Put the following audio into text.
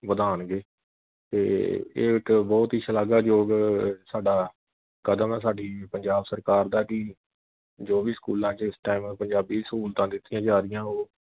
ਵਧਾਣਗੇ ਤੇ ਇਹ ਇਕ ਬਹੁਤ ਹੀ ਸ਼ਲਾਘਾਯੋਗ ਸਾਡਾ ਕਦਮ ਐ ਸਾਡੀ ਪੰਜਾਬ ਸਰਕਾਰ ਦਾ ਕਿ ਜੋ ਵੀ ਸਕੂਲਾਂ ਵਿਚ ਇਸ ਪੰਜਾਬੀ ਸਹੂਲਤਾਂ ਦਿੱਤੀਆਂ ਜਾ ਰਹੀਆਂ ਵਾਂ ਉਹ